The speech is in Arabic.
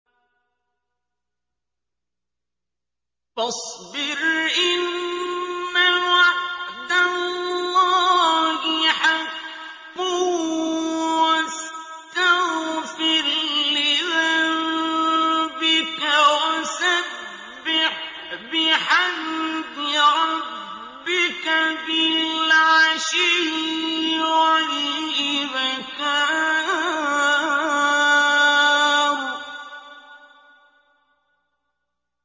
فَاصْبِرْ إِنَّ وَعْدَ اللَّهِ حَقٌّ وَاسْتَغْفِرْ لِذَنبِكَ وَسَبِّحْ بِحَمْدِ رَبِّكَ بِالْعَشِيِّ وَالْإِبْكَارِ